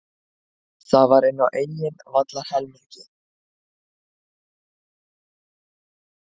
Þetta var inn á eigin vallarhelmingi.